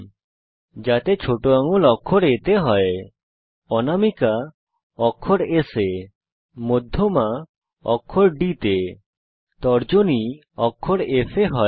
নিশ্চিত করুন যে ছোট আঙুল অক্ষর A তে হয় অনামিকা অক্ষর S এ মধ্যমা অক্ষর D তে তর্জনী অক্ষর F এ হয়